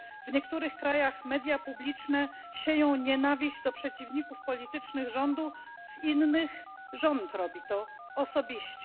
W niektórych krajach media publiczne sieją nienawiść do przeciwników politycznych rządu, w innych rząd robi to osobiście.